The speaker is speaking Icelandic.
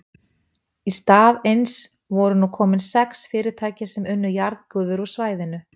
Í stað eins voru nú komin sex fyrirtæki sem unnu jarðgufu úr svæðinu.